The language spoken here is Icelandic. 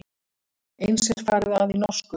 Eins er farið að í norsku.